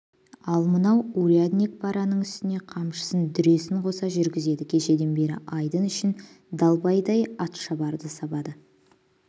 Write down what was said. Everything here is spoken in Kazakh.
ал мынау урядник параның үстіне қамшысын дүресін қоса жүргізеді кешеден бері айдын үшін далбайдай атшабарды сабады